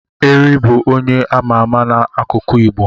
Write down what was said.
Eri bụ onye ama ama n'akụkọ Igbo.